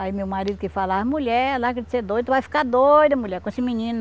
Aí meu marido que falava, mulher, larga de ser doida, tu vai ficar doida, mulher, com esse menino.